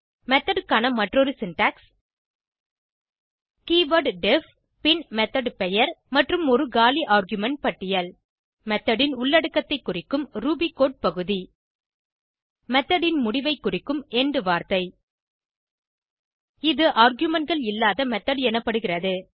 method க்கான மற்றொரு syntax keyword def பின் மெத்தோட் பெயர் மற்றும் ஒரு காலி ஆர்குமென்ட் பட்டியல் மெத்தோட் ன் உள்ளடக்கத்தை குறிக்கும் ரூபி கோடு பகுதி மெத்தோட் ன் முடிவை குறிக்கும் எண்ட் வார்த்தை இது argumentகள் இல்லாத மெத்தோட் எனப்படுகிறது